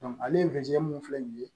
ale ye fɛn mun filɛ nin ye